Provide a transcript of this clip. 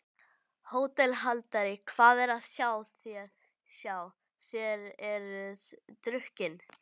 HÓTELHALDARI: Hvað er að sjá: þér eruð drukkin?